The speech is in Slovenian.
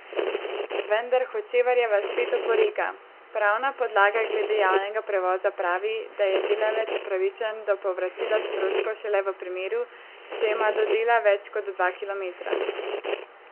Vendar Hočevarjeva spet oporeka: 'Pravna podlaga glede javnega prevoza pravi, da je delavec upravičen do povračila stroškov šele v primeru, če ima do dela več kot dva kilometra.